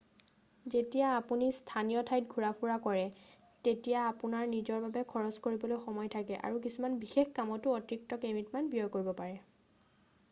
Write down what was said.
যেতিয়া আপুনি স্থানীয় ঠাইত ঘূৰা ফুৰা কৰে তেতিয়া আপোনাৰ নিজৰ বাবে খৰচ কৰিবলৈ সময় থাকে আৰু কিছুমান বিশেষ কামতো অতিৰিক্ত কেইমিনিটমান ব্যয় কৰিব পাৰে